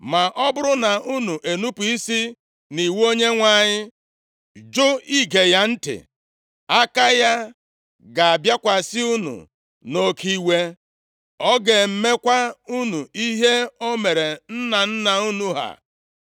Ma ọ bụrụ na unu enupu isi nʼiwu Onyenwe anyị, jụ ige ya ntị, aka ya ga-abịakwasị unu nʼoke iwe, ọ ga-emekwa unu ihe o mere nna nna unu ha.